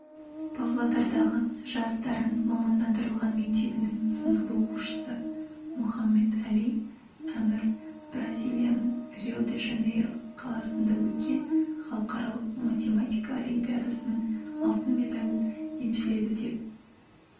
павлодардағы жас дарын мамандандырылған мектебінің сынып оқушысы мұхаммед-әли әмір бразилияның рио-де-жанейро қаласында өткен халықаралық математика олимпиадасының алтын медалін еншіледі деп